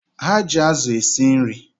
Ha ji azụ esi nri